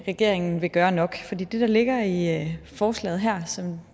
regeringen vil gøre nok fordi det der ligger i forslaget her som